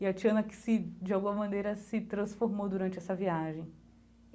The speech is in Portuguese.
E a Tiana que se, de alguma maneira, se transformou durante essa viagem.